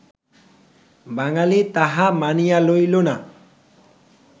বাঙ্গালী তাহা মানিয়া লইল না